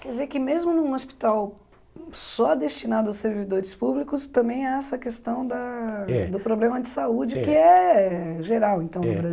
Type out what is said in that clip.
Quer dizer que mesmo num hospital só destinado aos servidores públicos, também há essa questão da, é, do problema de saúde, é, que é geral, é, no